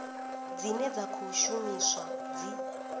dzine dza khou shumiswa dzi